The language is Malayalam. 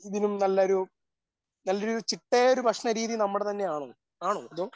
ഇതിലും നല്ലൊരു നല്ലൊരു ചിട്ടയായ ഭക്ഷണരീതി നമ്മുടെ തന്നെയാണോ ആണോ അതോ ?